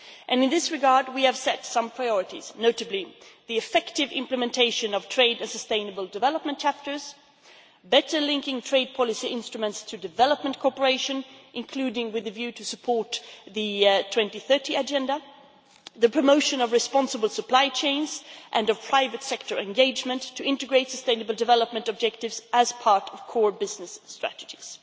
In this regard we have set some priorities, notably the effective implementation of trade and sustainable development chapters, better linking trade policy instruments to development cooperation, including with a view to supporting the 2030 agenda, and the promotion of responsible supply chains and of private sector engagement to integrate sustainable development objectives as part of core business strategies.